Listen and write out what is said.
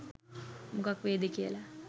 මොකක් වෙයිද කියල